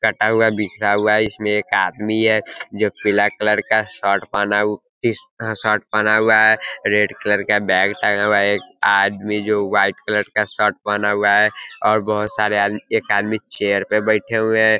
कटा हुआ बिखर हुआ है। इसमें एक आदमी है जो पीले कलर का शर्ट पहना हुआ इस- शर्ट पहना हुआ है। रेड कलर का बैग टांगा हुआ है। एक आदमी जो व्हाइट कलर का शर्ट पहना हुआ है और बहोत सारे आद- एक आदमी चेयर पर बैठे हुए है।